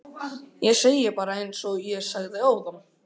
Ég segi bara einsog ég sagði áðan